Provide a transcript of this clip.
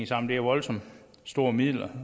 sammen det er voldsomt store midler